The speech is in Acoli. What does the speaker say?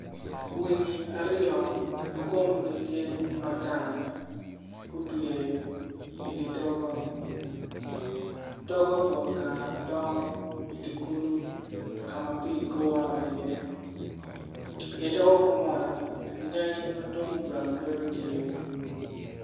Winyi aryo ma kumgi tye mata-ni gupye idi togo, togo pol kara dong idi kulu kulu ka ma pii gure iye idi togo ku man anyai madwong bene bedo tye.